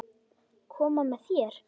Koma með þér?